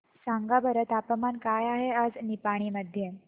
सांगा बरं तापमान काय आहे आज निपाणी मध्ये